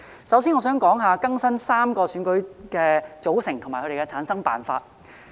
首先，我想說說更新3個選舉的組成及其產生辦法。